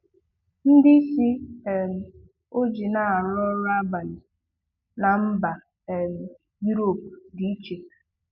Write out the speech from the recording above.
Ndị isi um ojii na-arụ ọrụ abalị na mba um Europe dị iche.